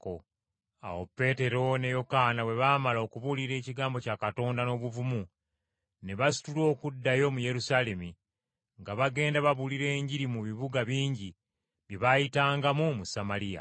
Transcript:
Awo Peetero ne Yokaana bwe baamala okubuulira ekigambo kya Katonda n’obuvumu, ne basitula okuddayo mu Yerusaalemi, nga bagenda babuulira Enjiri mu bibuga bingi bye baayitangamu mu Samaliya.